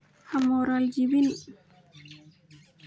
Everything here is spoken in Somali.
Xamoral jabin.